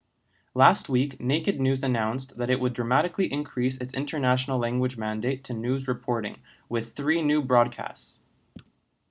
last week naked news announced that it would dramatically increase its international language mandate to news reporting with three new broadcasts